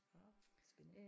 Nå spændende